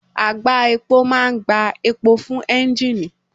Àgbá epo máa ń gbá epo fún ẹ́ńgìnì